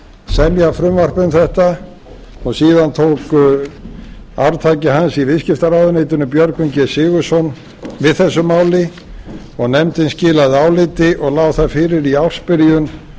semja frumvarp um þetta og síðan tók arftaki hans í viðskiptaráðuneytinu björgvin g sigurðsson við þessu máli og nefndin skilaði áliti og lá það fyrir í ársbyrjun